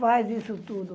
Faz isso tudo.